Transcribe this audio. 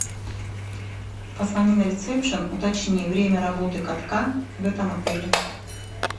позвони на ресепшн уточни время работы катка в этом отеле